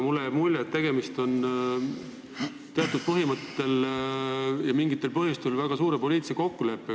Mulle jääb siiski mulje, et tegemist on teatud põhimõtetel ja mingitel põhjustel sündinud väga suure poliitilise kokkuleppega.